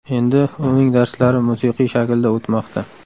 Endi uning darslari musiqiy shaklda o‘tmoqda.